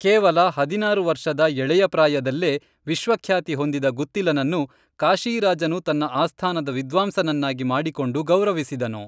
ಕೇವಲ ಹದಿನಾರು ವರ್ಷದ ಎಳೆಯ ಪ್ರಾಯದಲ್ಲೇ ವಿಶ್ವಖ್ಯಾತಿ ಹೊಂದಿದ ಗುತ್ತಿಲನನ್ನು ಕಾಶೀ ರಾಜನು ತನ್ನ ಆಸ್ಥಾನದ ವಿದ್ವಾಂಸನನ್ನಾಗಿ ಮಾಡಿಕೊಂಡು ಗೌರವಿಸಿದನು